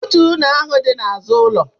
Gbutuo unne ahụ dị n’azụ ụlọ